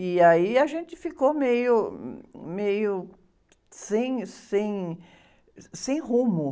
E aí a gente ficou meio, meio, sem, sem, sem rumo.